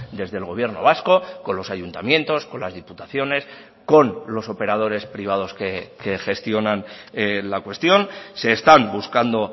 desde el gobierno vasco con los ayuntamientos con las diputaciones con los operadores privados que gestionan la cuestión se están buscando